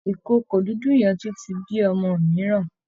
ìkookò dúdú yẹn tún ti bí ọmọ mìíràn